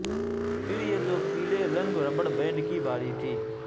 پھر یہ دو پیلے رنگ ربڑ بینڈ کی باری تھی